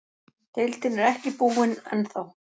Deildin er ekki búinn ennþá.